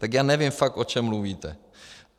Tak já nevím fakt, o čem mluvíte.